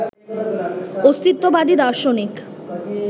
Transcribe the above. অস্তিত্ববাদী দার্শনিক